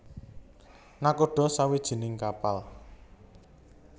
Nakhoda sawijining kapal